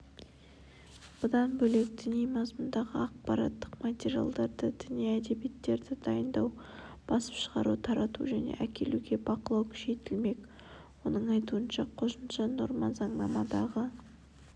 бұдан бөлек діни мазмұндағы ақпараттық материалдарды діни әдебиеттерді дайындау басып шығару тарату және әкелуге бақылау күшейтілмек оның айтуынша қосымша норма заңнамадағы